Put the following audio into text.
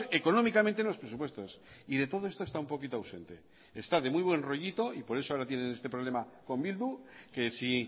económicamente en los presupuestos y de todo esto está un poquito ausente está de muy buen rollito y por eso ahora tienen este problema con bildu que si